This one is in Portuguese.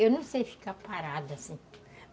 Eu não sei ficar parada assim